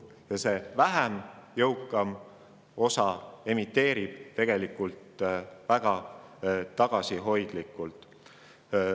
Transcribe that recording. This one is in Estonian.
Ja vähem jõukas osa inimestest emiteerib väga tagasihoidlikult.